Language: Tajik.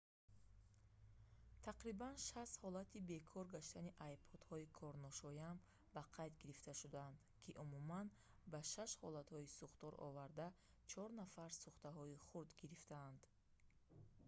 тақрибан 60 ҳолати бекор гаштани ipod-ҳои корношоям ба қайд гирифта шудаанд ки умуман ба 6 ҳолатҳои сӯхтор оварда чор нафар сӯхтаҳои хурд гирифтанд